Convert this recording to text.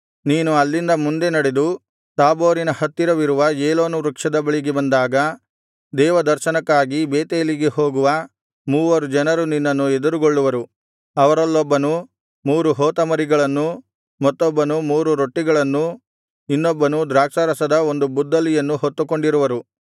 ನೀನು ಅಲ್ಲಿಂದ ಮುಂದೆ ನಡೆದು ತಾಬೋರಿನ ಹತ್ತಿರವಿರುವ ಏಲೋನ್‌ ವೃಕ್ಷದ ಬಳಿಗೆ ಬಂದಾಗ ದೇವದರ್ಶನಕ್ಕಾಗಿ ಬೇತೇಲಿಗೆ ಹೋಗುವ ಮೂವರು ಜನರು ನಿನ್ನನ್ನು ಎದುರುಗೊಳ್ಳುವರು ಅವರಲ್ಲೊಬ್ಬನು ಮೂರು ಹೋತಮರಿಗಳನ್ನೂ ಮತ್ತೊಬ್ಬನು ಮೂರು ರೊಟ್ಟಿಗಳನ್ನೂ ಇನ್ನೊಬ್ಬನು ದ್ರಾಕ್ಷಾರಸದ ಒಂದು ಬುದ್ದಲಿಯನ್ನೂ ಹೊತ್ತುಕೊಂಡಿರುವರು